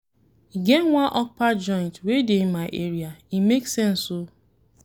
E get one okpa joint wey dey my area, e make sense o.